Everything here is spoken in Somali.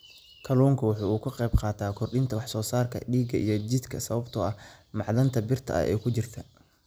Kalluunku waxa uu ka qaybqaataa kordhinta wax soo saarka dhiigga ee jidhka sababtoo ah macdanta birta ah ee ku jirta.